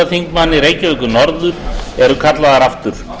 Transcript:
þingmaður reykjavíkurkjördæmis norður eru kallaðar aftur